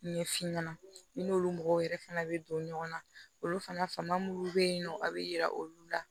Ɲɛ fin ɲɛna i n'olu mɔgɔw yɛrɛ fana bɛ don ɲɔgɔn na olu fana minnu bɛ yen nɔ a bɛ yira olu la